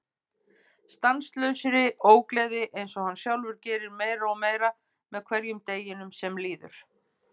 Stanslausri ógleði einsog hann sjálfur gerir meira og meira með hverjum deginum sem líður.